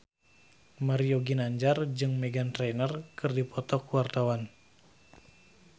Mario Ginanjar jeung Meghan Trainor keur dipoto ku wartawan